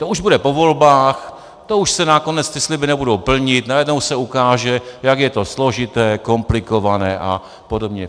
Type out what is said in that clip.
To už bude po volbách, to už se nakonec ty sliby nebudou plnit, najednou se ukáže, jak je to složité, komplikované a podobně.